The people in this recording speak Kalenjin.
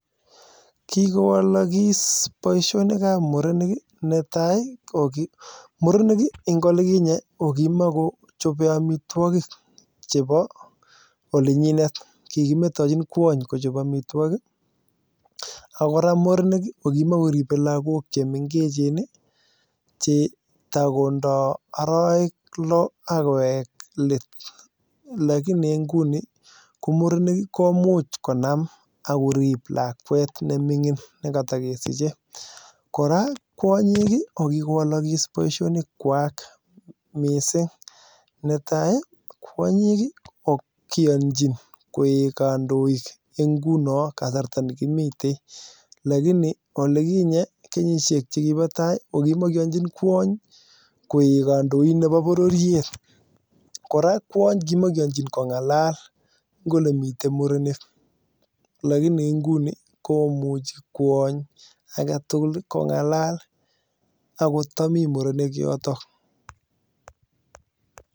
Kikowalagis boisionikab murenik , netai ih murenik en oliginye kokimokochobe amituakik chebo olinyinet, kikimetachin kuany Kochab amituakik ih , Ako kora murenik kokimokoribe lakok chemengechen ih chetakondo arawek loo akowek let. lakini inguni murenik ih komuch konam korib lakuet neming'in nekatokesiche, kora kuany'ik ih kokikowalakis boisionikuak missing, netai kuany'ik ih ko kianchin koek kandoik ngunon en kasarta nekimoten lakini olikinye ih kenyisiek chekibo tai kokimokoanchin kuany koek kandoin nebo bororiet kora kuany ih kokimokoanchin kong'alal en olemiten murenik lakini inguni komuchi kuony agetugul ih kong'alal en akot tamii morenik yotoo.